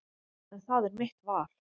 En það er mitt val.